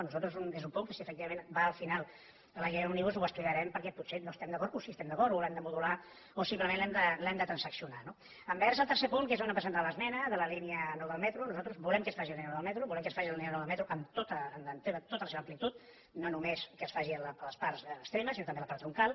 nosaltres és un punt que si efectivament va al final a la llei òmnibus ho estudiarem perquè potser no hi estem d’acord o sí que hi estem d’acord o l’hem de modular o simplement l’hem de transaccionar no envers el tercer punt que és on hem presentat l’esmena de la línia nou del metro nosaltres volem que es faci la línia nou del metro volem que es faci la línia nou del metro en tota la seva amplitud no només que es faci a les parts extremes sinó també a la part troncal